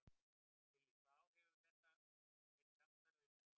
Lillý: Hvaða áhrif hefur þetta að vera í samstarfi með Norðmönnum?